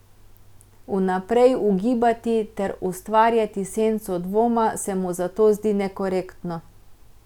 Vnaprej ugibati ter ustvarjati senco dvoma se mu zato zdi nekorektno.